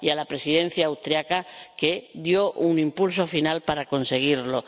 y a la Presidencia austriaca, que dio un impulso final para conseguirlo.